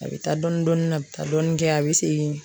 A bɛ taa dɔɔnin dɔɔnin a bɛ taa dɔɔnin kɛ a bɛ segin